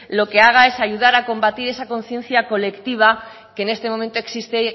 lo que haga es ayudar a combatir esa conciencia colectiva que en este momento existe